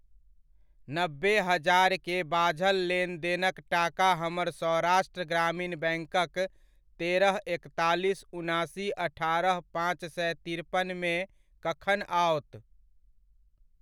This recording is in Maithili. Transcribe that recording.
नब्बे हजार के बाझल लेनदेनक टाका हमर सौराष्ट्र ग्रामीण बैङ्कक तेरह, एकतालीस, उनासी, अठारह, पाँच सए तिरपनमे कखन आओत?